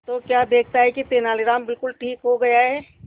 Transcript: तो क्या देखता है कि तेनालीराम बिल्कुल ठीक हो गया है